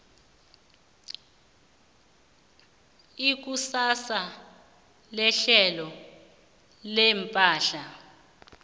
ikusasa lehlelo lepahla